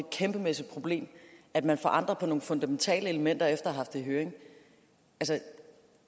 kæmpemæssigt problem at man forandrer nogle fundamentale elementer efter at have haft det i høring